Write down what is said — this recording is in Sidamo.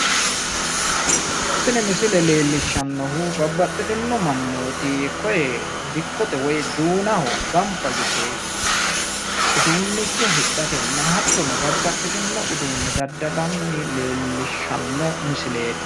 tini misile leellishshannohu babbaxxitino mannooti koye dikkote woy duunaho gamaba yite uduunnicho hidhate hattono babbaxxitino uduunne daddalanni no lellishshanno misileeti.